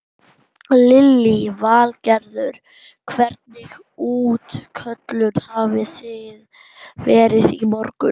Lillý Valgerður: Hvernig útköllum hafi þið verið í morgun?